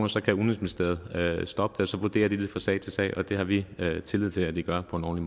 så kan udenrigsministeriets stoppe det og så vurderer de det fra sag til sag og det har vi tillid til at de gør på en